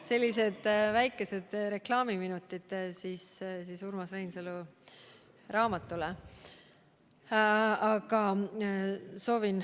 Sellised väikesed reklaamiminutid siis Urmas Reinsalu raamatule.